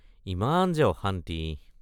ইমান যে অশান্তি!